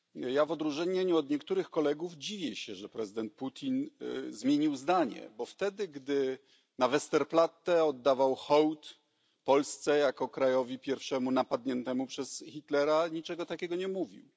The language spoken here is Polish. Ja w odróżnieniu od niektórych kolegów dziwię się, że prezydent Putin zmienił zdanie, bo gdy na Westerplatte oddawał hołd Polsce jako pierwszemu krajowi napadniętemu przez Hitlera, niczego takiego nie mówił.